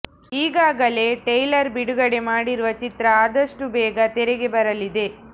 ಈಗಾಗಲೇ ಟ್ರೈಲರ್ ಬಿಡುಗಡೆ ಮಾಡಿರುವ ಚಿತ್ರ ಆದಷ್ಟೂ ಬೇಗ ತೆರೆಗೆ ಬರಲಿದೆ